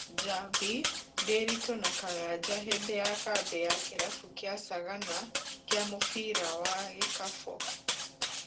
Njambi, Nderitũ na Karanja hĩndĩ ya kambĩ ya kĩrabu kĩa Sagana kĩa mũbira wa gĩkabũ.